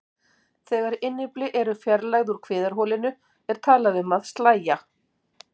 Þegar innyfli eru fjarlægð úr kviðarholinu er talað um að slægja.